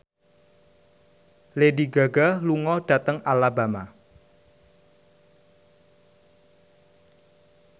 Lady Gaga lunga dhateng Alabama